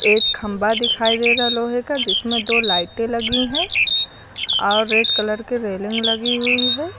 एक खंभा दिखाई दे रहा है लोहे का जिसमें दो लाइटें लगी हैं और रेड कलर के रेलिंग लगी हुई है।